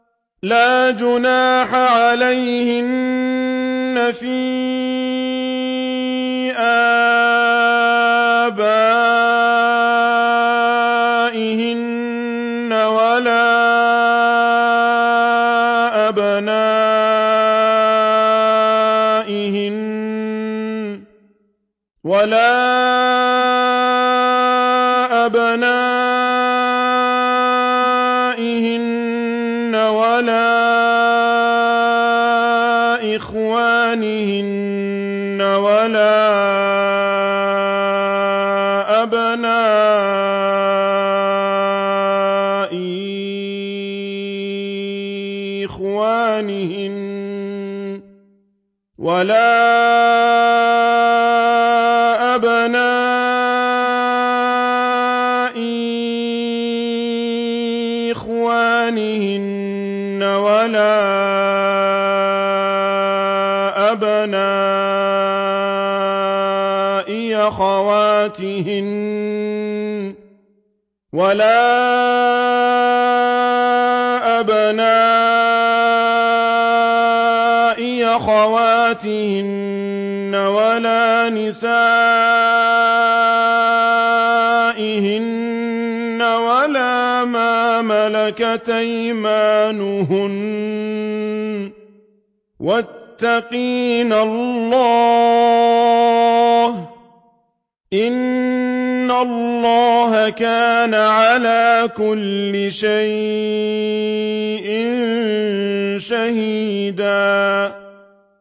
لَّا جُنَاحَ عَلَيْهِنَّ فِي آبَائِهِنَّ وَلَا أَبْنَائِهِنَّ وَلَا إِخْوَانِهِنَّ وَلَا أَبْنَاءِ إِخْوَانِهِنَّ وَلَا أَبْنَاءِ أَخَوَاتِهِنَّ وَلَا نِسَائِهِنَّ وَلَا مَا مَلَكَتْ أَيْمَانُهُنَّ ۗ وَاتَّقِينَ اللَّهَ ۚ إِنَّ اللَّهَ كَانَ عَلَىٰ كُلِّ شَيْءٍ شَهِيدًا